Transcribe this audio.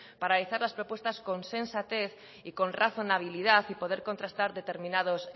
para realizar las propuestas con sensatez y con razonabilidad y poder contrastar determinados